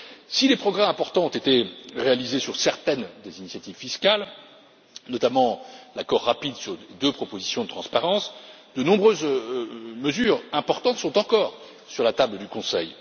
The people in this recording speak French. Si des progrès importants ont été réalisés sur certaines des initiatives fiscales, notamment l'accord rapide sur deux propositions de transparence, de nombreuses mesures importantes sont encore sur la table du Conseil.